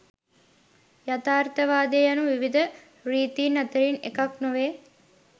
යථාර්ථවාදය යනු විවිධ රීතීන් අතරින් එකක් නොවේ.